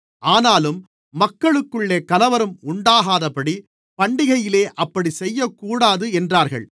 ஆனாலும் மக்களுக்குள்ளே கலவரம் உண்டாகாதபடி பண்டிகையிலே அப்படிச் செய்யக்கூடாது என்றார்கள்